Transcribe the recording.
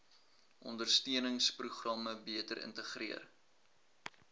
ondersteuningsprogramme beter integreer